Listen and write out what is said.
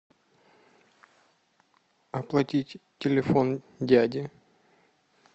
оплатить телефон дяди